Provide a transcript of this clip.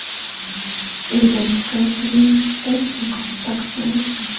Uydan chiqayotganingizda niqob taqishni unutmang!